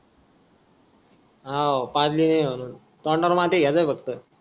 हाव पाजली नाय म्हणून तोंडावर माती घ्याच्य फक्त